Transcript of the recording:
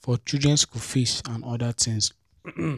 for children school fees and other things